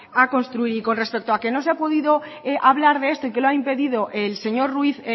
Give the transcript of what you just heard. a construir y con respecto que no se ha podido hablar de esto y que lo ha impedido el señor ruiz